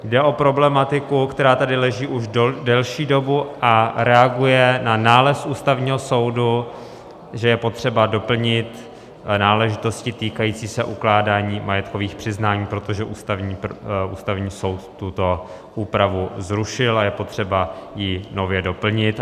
Jde o problematiku, která tady leží už delší dobu a reaguje na nález Ústavního soudu, že je potřeba doplnit náležitosti týkající se ukládání majetkových přiznání, protože Ústavní soud tuto úpravu zrušil a je potřeba ji nově doplnit.